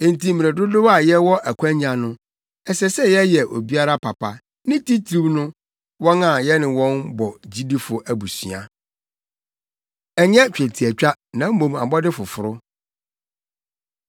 Enti mmere dodow a yɛwɔ akwannya no, ɛsɛ sɛ yɛyɛ obiara papa, ne titiriw no, wɔn a yɛne wɔn bɔ gyidifo abusua. Ɛnyɛ Twetiatwa Na Mmom Abɔde Foforo